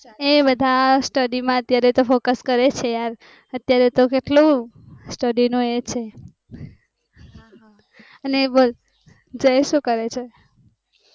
એ બધા study અત્યારે focus કરે છે યાર અત્યારે તો કેટલુ study નું એ છે, અને જય સુ કરે છે?